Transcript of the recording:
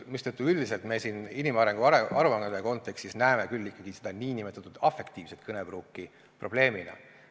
Me üldiselt inimarengu aruande kontekstis näeme küll ikkagi seda nn afektiivset kõnepruuki probleemina.